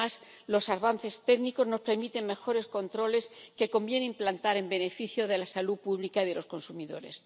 además, los avances técnicos nos permiten mejores controles que conviene implantar en beneficio de la salud pública de los consumidores.